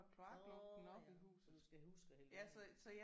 Nåh ja så du skal huske at hælde vand i